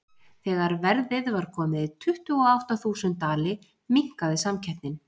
Þegar verðið var komið í tuttugu og átta þúsund dali minnkaði samkeppnin.